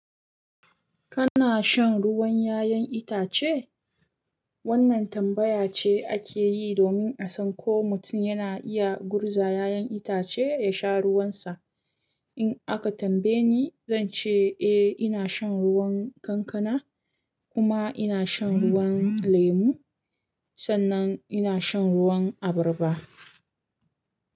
Kana shan ruwan 'ya'yan itace? Wannan tambaya ce ake yi domin a san ko mutum yana iya gurza 'ya'yan itace ya sha ruwansa. In aka tambaye ni, zan ce eh ina shan ruwan kankana kuma ina shan ruwan lemu sannan ina shan ruwan abarba.